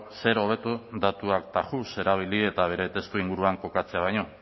zer hobeto datuak tajus erabili eta bere testuinguruan kokatzea baino